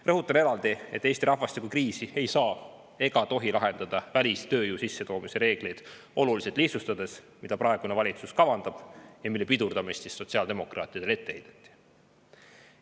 Rõhutan eraldi, et Eesti rahvastikukriisi ei saa ega tohi lahendada välistööjõu sissetoomise reeglite olulise lihtsustamisega, mida praegune valitsus kavandab ja mille pidurdamist sotsiaaldemokraatidele ette heideti.